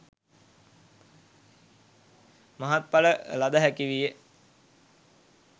මහත් ඵල ලද හැකි විය.